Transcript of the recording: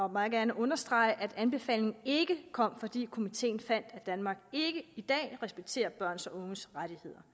meget gerne understrege at anbefalingen ikke kom fordi komiteen fandt at danmark ikke i dag respekterer børns og unges rettigheder